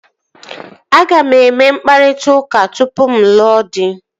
Aga m eme mkpakọrịta tupu mụ alụọ dị